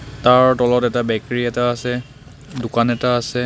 তাৰ তলত এটা বেক্ৰী এটা আছে দোকান এটা আছে.